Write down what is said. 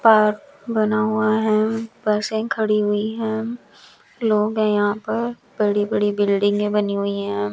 Park बना हुआ है बसें खड़ी हुईं है लोग हैं यहां पर बड़ी बड़ी बिल्डिंगे बनी हुई है।